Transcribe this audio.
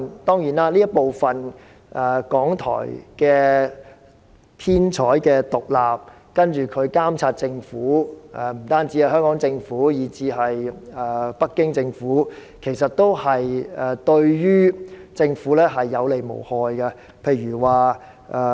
當然，港台編採獨立，還會監察政府，且不僅監察香港政府，也監察北京政府，這對政府也是有利而無害的。